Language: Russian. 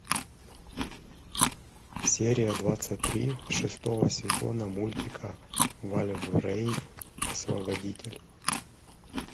серия двадцать три шестого сезона мультика вальврейв освободитель